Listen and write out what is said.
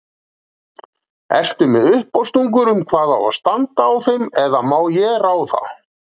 Ertu með uppástungur um hvað á að standa á þeim eða má ég ráða?